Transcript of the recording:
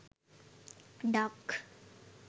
duck